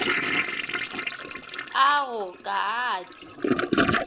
a go ka a di